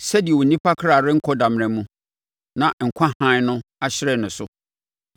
sɛdeɛ onipa kra renkɔ damena mu, na nkwa hann no ahyerɛn ne so.